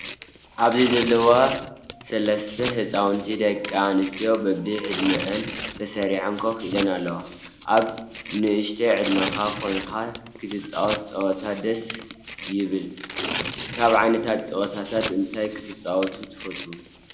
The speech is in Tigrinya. ኣብዚ ዘለዋ ሰላስተ ህፃውቲ ደቂ ኣንስትዮ በቢ ዕድሚኣን ተሰሪዐን ኮፍ ኢለን ኣለዋ። ኣብ ንእስነት ዕድመካ ኮይካ ክትፃወት ፀወታ ደስ ይብለካ። ካብ ዓይነታት ፀወታታት እንታይ ክትፃወቱ ትፈትው ?